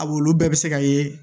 A wolo bɛɛ bɛ se ka ye